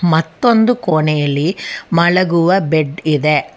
ಮತ್ತೊಂದು ಕೋಣೆಯಲ್ಲಿ ಮಲಗುವ ಬೆಡ್ ಇದೆ.